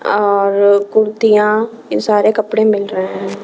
और कुर्तियां इन सारे कपड़े मिल रहे हैं।